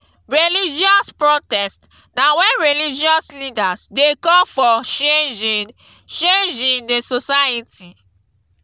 religious protest na when religious leaders de call for change in change in di society